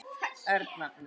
Erna